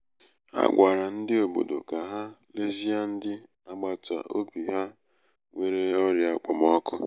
ha gwara ndị obodo um ka ha lezie ndị agbata obi ha nwere um ọrịa um okpomọkụ